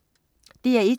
DR1: